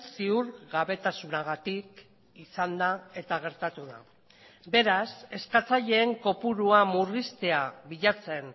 ziurgabetasunagatik izan da eta gertatu da beraz eskatzaileen kopurua murriztea bilatzen